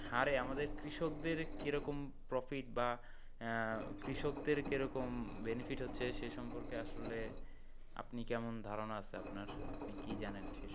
আর আমাদের কৃষকদের কীরকম কি profit বা আহ কৃষকদের কীরকম benefit হচ্ছে সে সম্পর্কে আসলে আপনি কেমন ধারনা আছে আপনার আপনি কী জানেন সে সম্পর্কে?